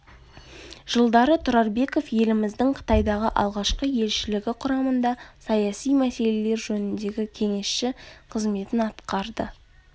жылдары тұрарбеков еліміздің қытайдағы алғашқы елшілігі құрамында саяси мәселелер жөніндегі кеңесші қызметін атқарды